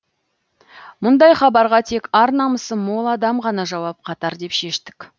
мұндай хабарға тек ар намысы мол адам ғана жауап қатар деп шештік